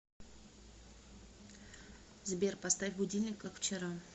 сбер поставь будильник как вчера